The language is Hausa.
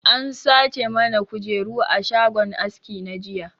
An sace mana kujeru a shagon aski na jiya